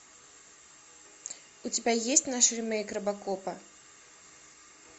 у тебя есть наш ремейк робокопа